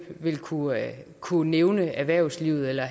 vil kunne kunne nævne erhvervslivet eller